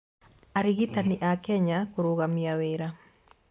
Arigitani a Kenya kũrũgamia wĩra